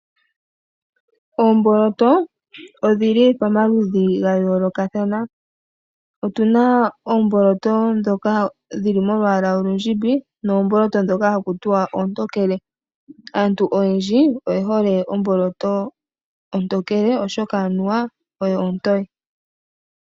Oomboloto odhili pamaludhi gayoolokathana. Otuna oomboloto dhoka dhili molwaala olundjimbi noomboloyo dhoka haku tiwa oontookele. Aantu oyendji oyehole omboloto ontokele oshoka anuwa oyo ontoye.